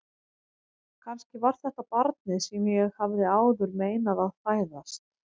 Kannski var þetta barnið sem ég hafði áður meinað að fæðast.